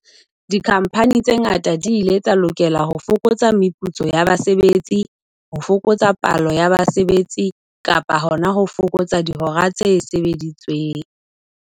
Dikhamphani tse ngata di ile tsa lokela ho fokotsa meputso ya basebetsi, ho fokotsa palo ya basebetsi kapa hona ho fokotsa dihora tse sebeditsweng.